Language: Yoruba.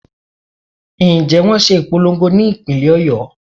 Ǹjẹ́ wón ṣe ìpolongo ní ìpínlè Ọ̀yọ́.